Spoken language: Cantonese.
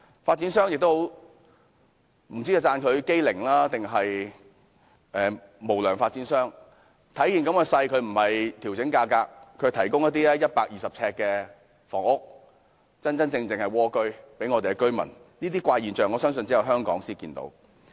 不知道應稱讚發展商機靈，還是說他們是"無良發展商"，他們看到目前形勢，並沒有調整價格，反而是推出一些面積120呎的房屋，名副其實的"蝸居"，我相信這些怪現象只有香港才可見到。